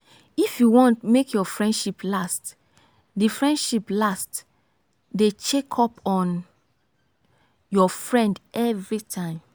if you wan make your friendship last dey friendship last dey check up on your friend everytime.